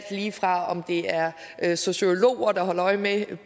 lige fra at det er er sociologer der holder øje med